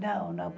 Não, não.